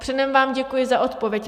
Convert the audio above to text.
Předem vám děkuji za odpověď.